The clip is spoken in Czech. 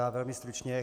Já velmi stručně.